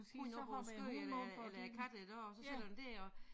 Hund op på æ skød eller eller æ katte iggå så sidder den dér og